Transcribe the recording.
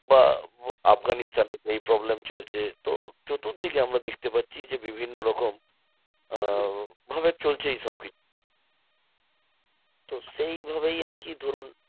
বা আফগানিস্তানে এই problem চলছে। তো চতুর্দিকে আমরা দেখতে পাচ্ছি যে বিভিন্ন রকম আহ ভাবে চলছে এইসব কিছু। তো সেইভাবেই আরকি ধরুন